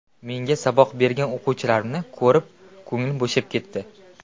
Menga saboq bergan o‘qituvchilarimni ko‘rib ko‘nglim bo‘shab ketdi.